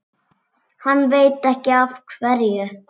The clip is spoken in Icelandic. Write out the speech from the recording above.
Hann veit ekki af hverju.